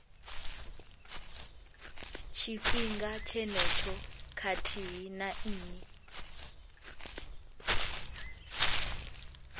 tshifhinga tshenetsho khathihi na nnyi